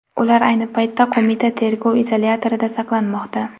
Ular ayni paytda qo‘mita tergov izolyatorida saqlanmoqda.